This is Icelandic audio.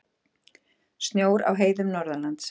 Snjór á heiðum norðanlands